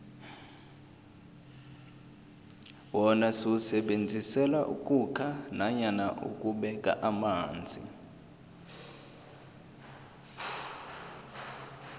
wona siwusebenzisela ukhukha nanyana ukubeka amanzi